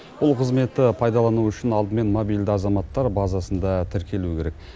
бұл қызметті пайдалану үшін алдымен мобильді азаматтар базасында тіркелу керек